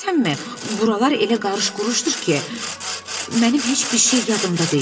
Buralar elə qarış-quruşdur ki, mənim heç bir şey yadımda deyil.